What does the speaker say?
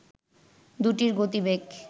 দুটির গতিবেগ